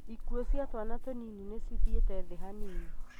ĩkuo cia twana tũnini nĩ cĩthĩite thĩ hanini